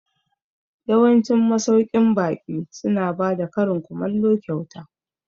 Yawancin masauƙin baƙi su na bada karin kumallo kyauta